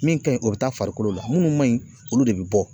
Min ka ɲi o be taa farikolo la, munnu man ɲi olu de be bɔ.